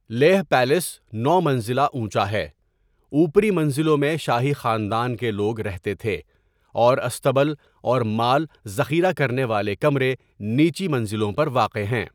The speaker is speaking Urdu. لیہہ پیلس نو منزلہ اونچا ہے، اوپری منزلوں میں شاہی خاندان کے لوگ رہتے تھے، اور اصطبل اور مال ذخیرہ کرنے والے کمرے نچلی منزلوں پر واقع ہیں۔